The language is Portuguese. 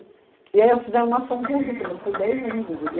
E aí fizeram uma ação conjunta, mas foi dez anos de briga.